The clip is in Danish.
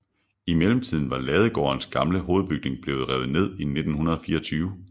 I mellemtiden var Ladegårdens gamle hovedbygning blevet revet ned i 1924